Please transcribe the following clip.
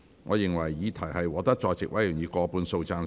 我認為議題獲得在席委員以過半數贊成。